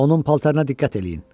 Onun paltarına diqqət eləyin.